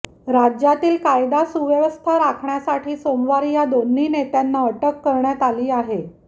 राज्यातली कायदा सुव्यवस्था राखण्यासाठी सोमवारी या दोन्ही नेत्यांना अटक करण्यात आली आहे